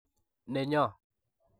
Nenyo.